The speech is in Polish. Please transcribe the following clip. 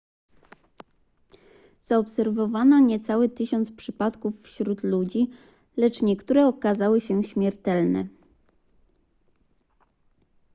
zaobserwowano niecałe tysiąc przypadków wśród ludzi lecz niektóre okazały się śmiertelne